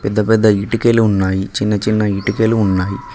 పెద్ద పెద్ద ఇటుకలు ఉన్నాయి చిన్నచిన్న ఇటుకలు ఉన్నాయి.